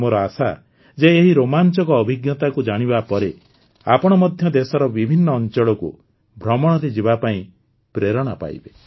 ମୋର ଆଶା ଯେ ଏହି ରୋମାଞ୍ଚକ ଅଭିଜ୍ଞତାକୁ ଜାଣିବା ପରେ ଆପଣ ମଧ୍ୟ ଦେଶର ବିଭିନ୍ନ ଅଞ୍ଚଳକୁ ଭ୍ରମଣରେ ଯିବାପାଇଁ ପ୍ରେରଣା ପାଇବେ